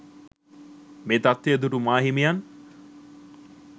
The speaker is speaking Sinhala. මේ තත්ත්වය දුටු මාහිමියන්